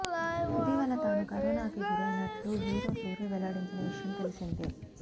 ఇటీవల తాను కరోనాకి గురైనట్టు హీరో సూర్య వెల్లడించిన విషయం తెలిసిందే